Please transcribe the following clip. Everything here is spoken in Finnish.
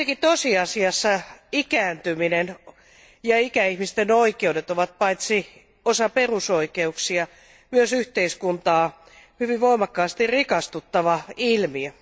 Tosiasiassa ikääntyminen ja ikäihmisten oikeudet kuitenkin ovat paitsi osa perusoikeuksia, myös yhteiskuntaa hyvin voimakkaasti rikastuttava ilmiö.